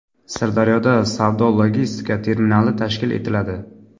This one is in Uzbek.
Sirdaryoda savdo-logistika terminali tashkil etiladi.